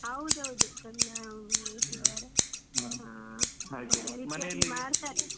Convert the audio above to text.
ಹೌದೌದು ತಂದ್ ಇಟ್ಟಿದ್ದಾರೆ.